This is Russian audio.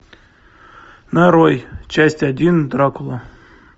нарой часть один дракула